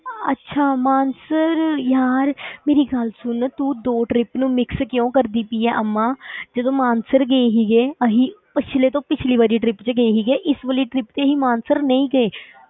ਅੱਛਾ ਮਾਨਸਰ ਯਾਰ ਮੇਰੀ ਗੱਲ ਸੁਣ ਤੂੰ ਦੋ trip ਨੂੰ mix ਕਿਉਂ ਕਰਦੀ ਪਈ ਹੈਂ ਅੰਮਾ ਜਦੋਂ ਮਾਨਸਰ ਗਏ ਸੀਗੇ, ਅਸੀਂ ਪਿੱਛਲੇ ਤੋਂ ਪਿੱਛਲੇ ਵਾਲੀ trip ਵਿੱਚ ਗਏ ਸੀਗੇ, ਇਸ ਵਾਲੀ trip ਵਿੱਚ ਅਸੀਂ ਮਾਨਸਰ ਨਹੀਂ ਗਏ।